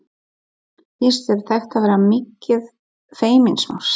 Finnst þér þetta vera mikið feimnismál?